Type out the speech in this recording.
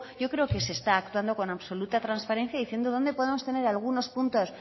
yo creo que se está actuando con absoluta transparencia diciendo dónde podemos tener algunos puntos